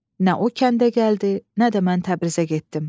Nə o kəndə gəldi, nə də mən Təbrizə getdim.